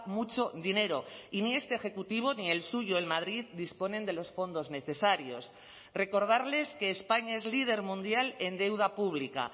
mucho dinero y ni este ejecutivo ni el suyo en madrid disponen de los fondos necesarios recordarles que españa es líder mundial en deuda pública